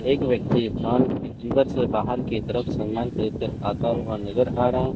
एक व्यक्ति की से बाहर की तरफ सामान खरीदते आता हुआ नजर आ रहा है।